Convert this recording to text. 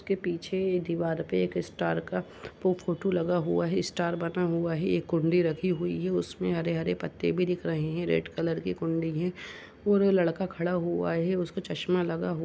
के पीछे ये दीवार पे एक स्टार का पो फोटो लगा हुआ है स्टार बना हुआ है एक कुण्डी रखी हुई है। उसमें हरे हरे पत्ते भी दिख रहे हैं। रेड कलर की कुंडी है और लड़का खड़ा हुआ है। उसको चश्मा लगा हुआ --